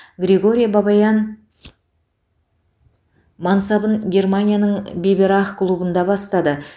григорий бабаян мансабын германияның биберах клубында бастады